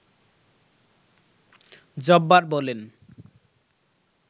জব্বার বলেন